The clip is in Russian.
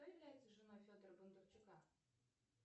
кто является женой федора бондарчука